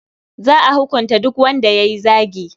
Za a hukunta duk wanda ya yi zagi.